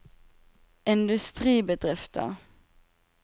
industribedrifter